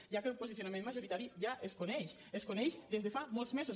ja que el posicionament majoritari ja es coneix es coneix des de fa molts mesos